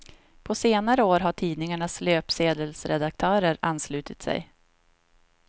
På senare år har tidningarnas löpsedelsredaktörer anslutit sig.